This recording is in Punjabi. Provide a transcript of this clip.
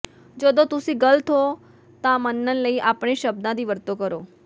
ਜਦੋਂ ਤੁਸੀਂ ਗਲਤ ਹੋ ਤਾਂ ਮੰਨਣ ਲਈ ਆਪਣੇ ਸ਼ਬਦਾਂ ਦੀ ਵਰਤੋਂ ਕਰੋ